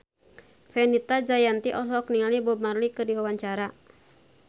Fenita Jayanti olohok ningali Bob Marley keur diwawancara